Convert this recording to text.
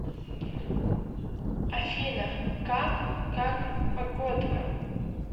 афина как как погодка